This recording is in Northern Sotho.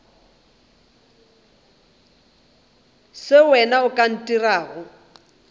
se wena o ka ntirago